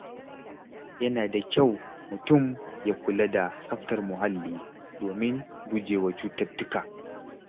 Yana da kyau mutum ya kula da tsaftar muhalli domin gujewa cututtuka.